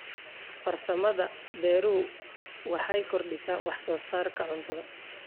Farsamada beeruhu waxay kordhisaa wax soo saarka cuntada.